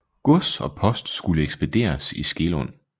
Gods og post skulle ekspederes i Skelund